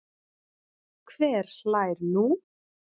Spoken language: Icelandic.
Hver hlær nú?